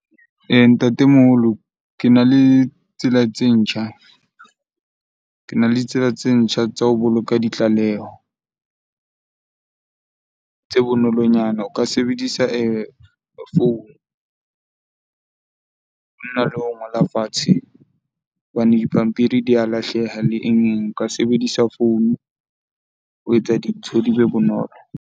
Ntatemoholo kena le tsela tse ntjha, kena le tsela tse ntjha tsa ho boloka ditlaleho tse bonolonyana. O ka sebedisa founu hona le ho ngola fatshe hobane dipampiri di a lahleha . O ka sebedisa founu ho etsa dintho di be bonolo.